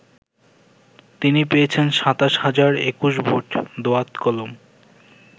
তিনি পেয়েছেন ২৭ হাজার ২১ ভোট দোয়াত-কলম ।